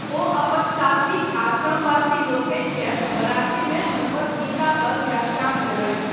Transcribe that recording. ओ अपन साथी आश्रमवासी लोकनिकेँ मराठीमे भगवद्गीता पर व्याख्यान देलनि।